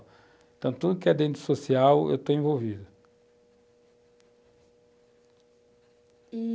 Então, tudo que é dentro do social, eu estou envolvido.E,